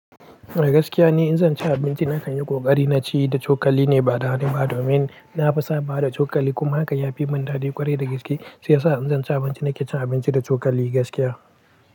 Gaskiya ne, in zan ci abinci na kan yi ƙoƙari na ci da cokali ne ba da hannu ba domin na fi sabawa da cokali. Kuma haka ya fi mun daɗi ƙwarai da gaske. Shiyasa in zan ci abinci na ke cin abinci da cokali gaskiya.